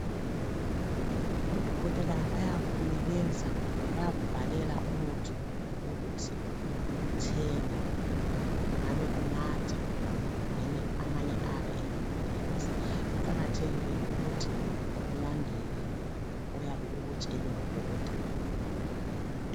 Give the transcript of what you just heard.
Odokotela bayakunikeza kumbe bayakubhalela umuthi ukuthi uthenge. Ungabe unatha kumbeni amanye ayabe engamaphilisi. Kuqakathekile ukuthi ulandele oyabe ukutshelwe ngodokotela.